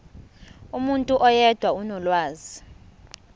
umuntu oyedwa onolwazi